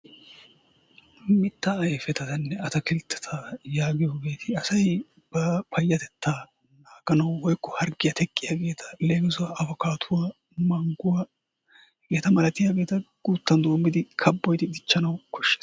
Mittaa ayfetanne ataakilttetta yaagiyoogeti asay naaganawu woykko harggiyaa teqqiyaageta leemisuwaawu afikaatuwaa mangguwaa hegeeta malatiyaageta guuttan doommidi kaabboyidi diichchanawu kooshshees.